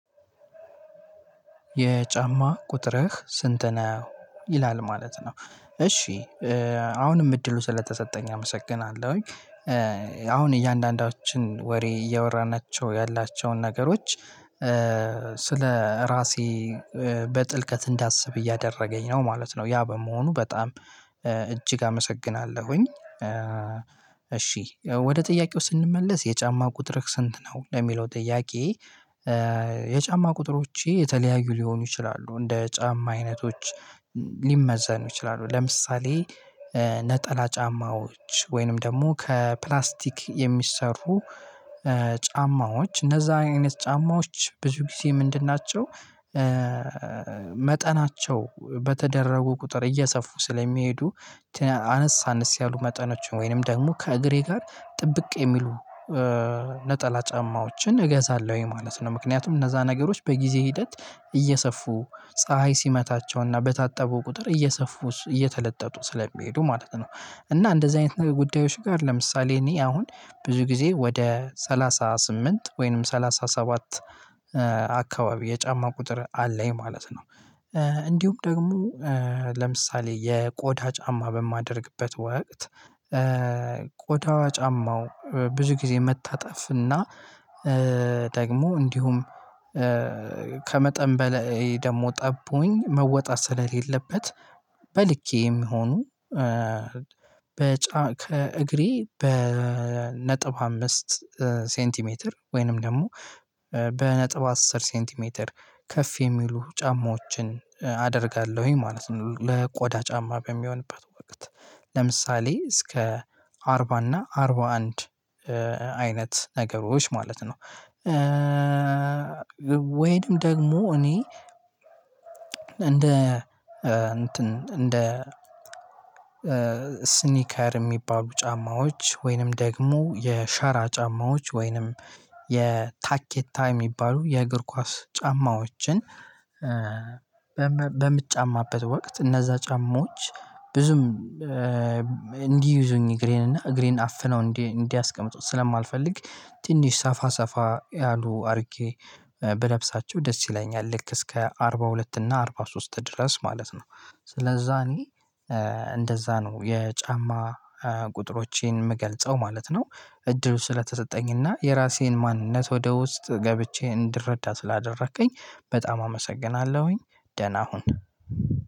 የጫማ ቁጥርህ ስንት ነው? ይላል ማለት ነው እሺ አሁንም እድሉ ስለተሰጠኝ አመሰግናለሁኝ። አሁን እያንዳንዳችን ወሬ እያወራናቸው ያላቸውን ነገሮች ስለ ራሴ በጥልቀት እንዳስብ እያደረገኝ ነው ማለት ነው። ያ በመሆኑ በጣም እጅግ አመሰግናለሁኝ። እሺ ወደ ጥያቄው ስንመለስ የጫማ ቁጥር ስንት ነው ለሚለው ጥያቄ? የጫማ ቁጥሮቼ የተለያዩ ሊሆኑ ይችላሉ እንደ ጫማ አይነቶች ሊመዘኑ ይችላሉ ለምሳሌ ነጠላ ጫማዎች ወይንም ደግሞ ከፕላስቲክ የሚሰሩ ጫማዎች እነዛ አይነት ጫማዎች ብዙ ጊዜ ምንድን ናቸው? መጠናቸው በተደረጉ ቁጥር እየሰፉ ስለሚሄዱ አነስ አነስ ያሉ መጠኖችን ወይንም ደግሞ ከእግሬ ጋር ጥብቅ የሚሉ ነጠላ ጫማዎችን እገዛለሁኝ ማለት ነው። ምክንያቱም እነዛ ነገሮች በጊዜ ሂደት እየሰፉ ፀሀይ ሲመታቸውና በታጠቡ ቁጥር እየሰፉ እየተለጠጡ ስለሚሄዱ ማለት ነው። እና እንደዚህ አይነት ጉዳዮች ጋር ለምሳሌ እኔ አሁን ብዙ ጊዜ ወደ ሰላሳ ስምንት ወይንም ሰላሳ ሰባት አካባቢ የጫማ ቁጥር አለኝ ማለት ነው። እንዲሁም ደግሞ ለምሳሌ የቆዳ ጫማ በማደርግበት ወቅት ቆዳዋ ጫማው ብዙ ጊዜ መታጠፍና ደግሞ እንዲሁም ከመጠን በላይ ደግሞ ጠቦኝ መወጣት ስለሌለበት በልኬ የሚሆኑ ከእግሬ ነጥብ አምስት ሴንቲሜትር ወይንም ደግሞ በነጥብ አስር ሴንቲሜትር ከፍ የሚሉ ጫማዎችን አደርጋለሁኝ ማለት ነው። ለቆዳ ጫማ በሚሆንበት ወቅት ለምሳሌ እስከ አርባ እና አርባ አንድ አይነት ነገሮች ማለት ነው። ወይንም ደግሞ እኔ እንደ እንትን እንደ ስኒከር የሚባሉ ጫማዎች ወይንም ደግሞ የሸራ ጫማዎች ወይንም የታኬታ የሚባሉ የእግር ኳስ ጫማዎችን በምትጫማበት ወቅት እነዛ ጫማዎች ብዙም እንዲይዙኝ እግሬንና እግሬን አፍነው እንዲያስቀምጡት ስለማልፈልግ ትንሽ ሰፋ ሰፋ ያሉ አድርጌ ብለብሳቸው ደስ ይለኛል ልክ እስከ አርባ ሁለት እና አርባ ሶስት ድረስ ማለት ነው። ስለዛ እኔ እንደዛ ነው የጫማ ቁጥሮቼን የምገልጸው ማለት ነው። እድሉ ስለተሰጠኝና የራሴን ማንነት ወደ ውስጥ ገብቼ እንድረዳ ስላደረከኝ በጣም አመሰግናለሁኝ። ደህና ሁን